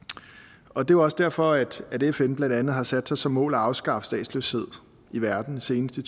og det også derfor at fn blandt andet har sat sig som mål at afskaffe statsløshed i verden senest i